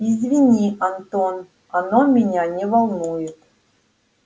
извини антон оно меня не волнует